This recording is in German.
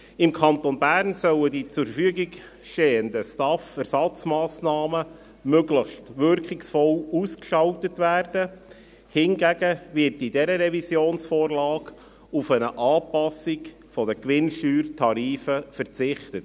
Im Kanton Bern sollen die zur Verfügung stehenden STAF-Ersatzmassnahmen möglichst wirkungsvoll ausgestaltet werden, hingegen wird in dieser Revisionsvorlage auf eine Anpassung der Gewinnsteuertarife verzichtet.